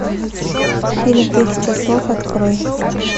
фильм тысяча слов открой